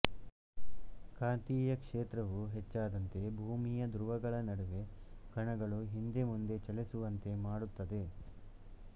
ಕಾಂತೀಯ ಕ್ಷೇತ್ರವು ಹೆಚ್ಚಾದಂತೆ ಭೂಮಿಯ ಧ್ರುವಗಳ ನಡುವೆ ಕಣಗಳು ಹಿಂದೆ ಮುಂದೆ ಚಲಿಸುವಂತೆ ಮಾಡುತ್ತದೆ